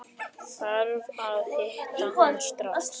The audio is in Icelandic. Þarf að hitta hann strax.